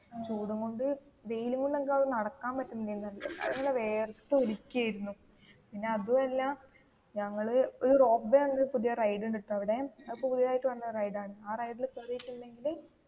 ചൂടും കൊണ്ടു വെയിലും കൊണ്ട് അങ്ങ് നടക്കാൻ പറ്റുന്നില്ല നല്ല വിയർത്തു ഒലിക്കുവായിരുന്നു പിന്നേ അതും അല്ല ഞങ്ങൾ ഒരു റോപ്പ് വേ പറഞ്ഞിട്ടു ഒരു പുതിയ റൈഡ് ഉണ്ട് കേട്ടോ അവിടെ അതു പുതിയതു ആയിട്ടൂ വന്ന റൈഡ് ആണ് ആ റൈഡിൽ കേറീട്ടുണ്ടെങ്കില്